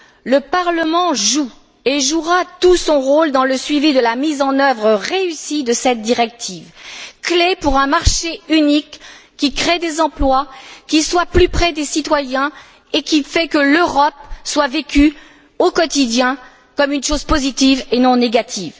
Le Parlement joue et jouera tout son rôle dans le suivi de la mise en œuvre réussie de cette directive clé pour un marché unique qui crée des emplois, qui soit plus près des citoyens et qui fasse que l'Europe soit vécue au quotidien comme une chose positive et non négative.